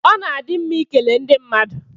Ọ na-adị mma ịkele ndị mmadụ